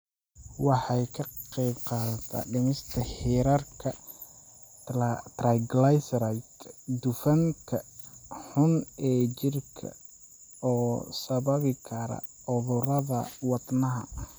Waxay ka qaybqaadataa dhimista heerarka triglycerides, dufanka xun ee jirka oo sababi kara cudurrada wadnaha.